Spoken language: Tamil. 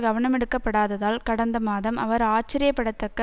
கவனமெடுக்கப் படாததால் கடந்த மாதம் அவர் ஆச்சரியப்படத்தக்க